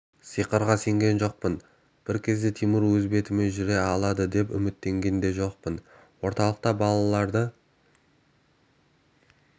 сиқырға сенген жоқпын тимур бір кезде өз бетімен жүре алады деп үміттенген де жоқпын орталықта балаларды